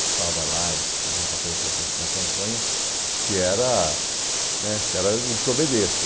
participava lá e teve um papel importante na campanha, que era né que era o desobedecer.